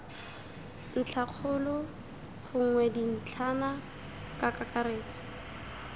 ntlhakgolo gongwe dintlhana ka kakaretso